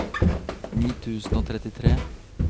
ni tusen og trettitre